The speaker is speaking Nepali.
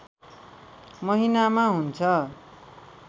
महिनामा हुन्छ